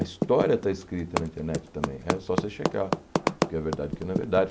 A história está escrita na internet também, é só você checar o que é verdade e o que não é verdade.